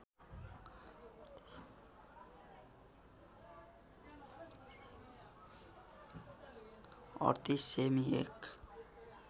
३८ सेमि १